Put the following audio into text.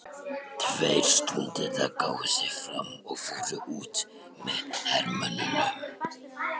Tveir stúdentar gáfu sig fram og fóru út með hermönnunum.